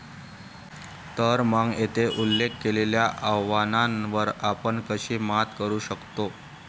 तर मग, येथे उल्लेख केलेल्या आव्हानांवर आपण कशी मात करू शकतो?